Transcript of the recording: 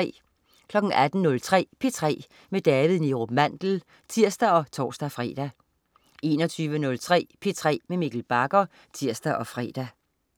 18.03 P3 med David Neerup Mandel (tirs og tors-fre) 21.03 P3 med Mikkel Bagger (tirs og fre)